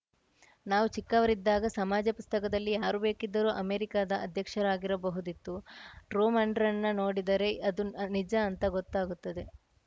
ನಾವು ಚಿಕ್ಕವರಿದ್ದಾಗ ಸಮಾಜ ಪುಸ್ತಕದಲ್ಲಿ ಯಾರು ಬೇಕಿದ್ದರೂ ಅಮೆರಿಕಾದ ಅಧ್ಯಕ್ಷರಾಗಿರಬಹುದಿತ್ತು ಟ್ರೂಮನಾಂಡ್ರನ್ ನೋಡಿದರೆ ಅದು ನಿಜ ಅಂತ ಗೊತ್ತಾಗುತ್ತದೆ